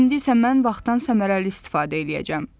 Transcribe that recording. İndi isə mən vaxtdan səmərəli istifadə eləyəcəm.